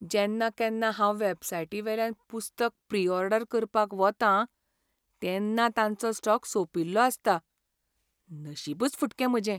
जेन्ना केन्ना हांव वॅबसायटी वेल्यान पुस्तक प्री ऑर्डर करपाक वतां तेन्ना तांचो स्टॉक सोंपिल्लो आसता. नशीबच फुटकें म्हाजें.